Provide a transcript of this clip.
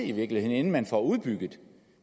i virkeligheden inden man får udbygget